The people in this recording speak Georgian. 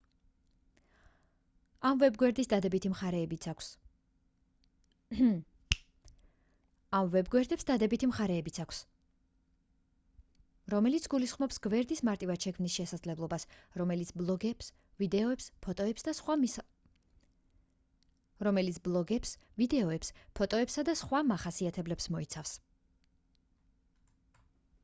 ამ ვებგვერდებს დადებითი მხარეებიც აქვთ რომელიც გულისხმობს გვერდის მარტივად შექმნის შესაძლებლობას რომელიც ბლოგებს ვიდეოებს ფოტოებსა და სხვა მახასიათებლებს მოიცავს